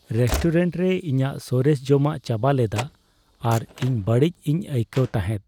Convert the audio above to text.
Restaurant ᱨᱮ ᱤᱧᱟᱹᱜ ᱥᱚᱨᱮᱥ ᱡᱚᱢᱟᱜ ᱪᱟᱵᱟ ᱞᱮᱫᱟ ᱟᱨ ᱤᱧ ᱵᱟᱹᱲᱤᱡ ᱤᱧ ᱟᱹᱭᱠᱟᱹᱣ ᱛᱟᱦᱮᱫ ᱾